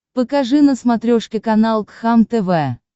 покажи на смотрешке канал кхлм тв